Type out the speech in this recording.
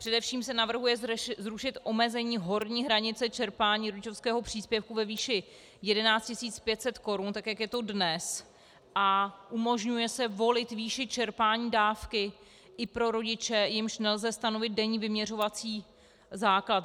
Především se navrhuje zrušit omezení horní hranice čerpání rodičovského příspěvku ve výši 11 500 korun tak, jak je to dnes, a umožňuje se volit výši čerpání dávky i pro rodiče, jimž nelze stanovit denní vyměřovací základ.